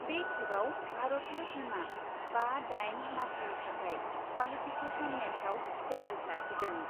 बे खेबआव भारतीय टीमआ बा दाइन मासिनि थाखाय क्वालिफिकेसन मेचआव सेलेन्ज लाखिगोन।